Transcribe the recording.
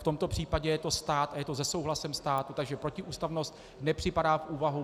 V tomto případě je to stát a je to se souhlasem státu, takže protiústavnost nepřipadá v úvahu.